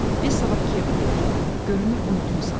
Biz sabah Kiyevə gedirik, görünür unutmusan.